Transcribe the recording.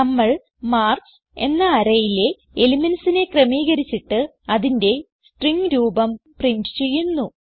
നമ്മൾ മാർക്ക്സ് എന്ന arrayയിലെ elementsനെ ക്രമീകരിച്ചിട്ട് അതിന്റെ സ്ട്രിംഗ് രൂപം പ്രിന്റ് ചെയ്യുന്നു